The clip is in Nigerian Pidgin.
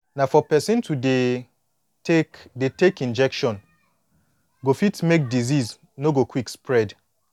na for person to dey take dey take injection go fit make disease no go quick spread